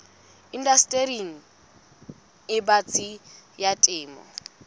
indastering e batsi ya temo